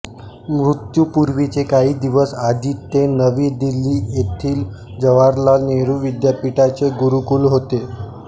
मृत्यूपूर्वीचे काही दिवस आधी ते नवी दिल्ली येथील जवाहरलाल नेहरू विद्यापीठाचे कुलगुरू होते